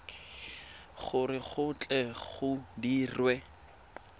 gore go tle go dirwe